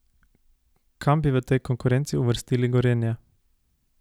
Kam bi v tej konkurenci uvrstili Gorenje?